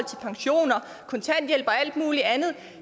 kontanthjælp og alt mulig andet